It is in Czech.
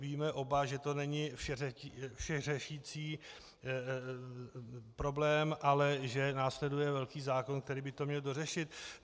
Víme oba, že to není všeřešící problém, ale že následuje velký zákon, který by to měl dořešit.